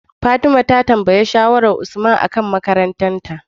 fatima ta tambayi shawarar usman akan makarantar ta